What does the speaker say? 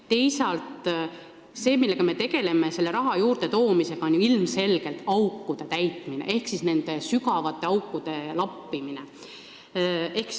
Teisalt see, millega me tegeleme selle raha juurdetoomisel, on ilmselgelt aukude täitmine ehk nende sügavate aukude lappimine.